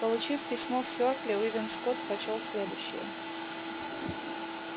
получив письмо в сёркле уидон скотт прочёл следующее